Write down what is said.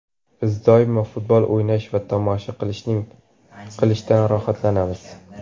Biz doimo futbol o‘ynash va tomosha qilishdan rohatlanamiz.